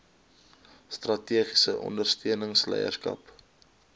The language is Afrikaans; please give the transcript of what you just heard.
strategiese ondersteuning leierskap